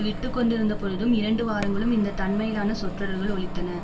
விட்டுக்கொண்டிருந்தபொழுதும் இரண்டு வாரங்களும் இந்த தன்மையிலான சொற்றொடர்கள் ஒலித்தன